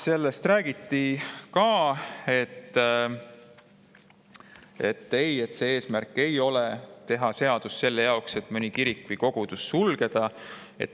Sellest räägiti ka, et eesmärk ei ole teha seadust selle jaoks, et mõni kirik või kogudus sulgeda.